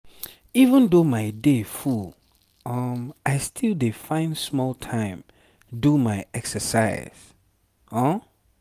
even though my day full um i still dey find small time do my exercise. um